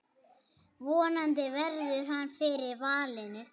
Vonandi verður hann fyrir valinu.